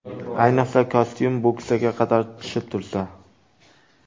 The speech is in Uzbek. Ayniqsa, kostyum bo‘ksaga qadar tushib tursa.